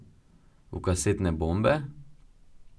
V kasetne bombe?